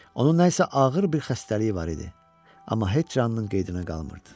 Onun nə isə ağır bir xəstəliyi var idi, amma heç canının qeydinə qalmırdı.